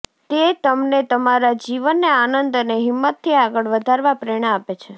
તે તમને તમારા જીવનને આનંદ અને હિંમતથી આગળ વધારવા પ્રેરણા આપે છે